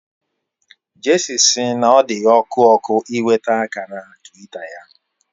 Jesse si n'odiya oku oku inweta akara twita ya